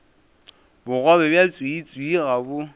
bogobe bja tswiitswii ga bo